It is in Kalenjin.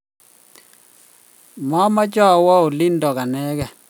mamache awo olindok anegei